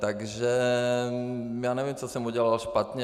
Takže já nevím, co jsem udělal špatně.